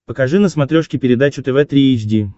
покажи на смотрешке передачу тв три эйч ди